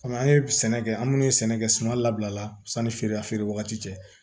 an ye sɛnɛ kɛ an minnu ye sɛnɛ kɛ suma labila la sanni feere wagati cɛ